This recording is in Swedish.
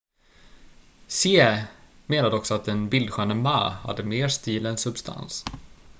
hsieh menade också att den bildsköne ma hade mer stil än substans